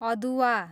अदुवा